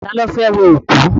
Ta ló fẹ́ wẹ òkú?